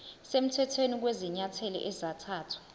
semthethweni kwezinyathelo ezathathwa